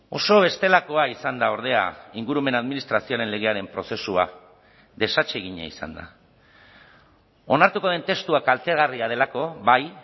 oso bestelakoa izan da ordea ingurumen administrazioaren legearen prozesua desatsegina izan da onartuko den testua kaltegarria delako bai